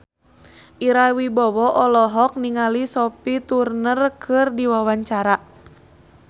Ira Wibowo olohok ningali Sophie Turner keur diwawancara